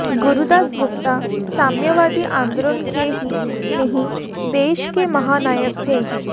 गुरुदास गुप्ता साम्यवादी आंदोलन के ही नहीं देश के महा नायक थे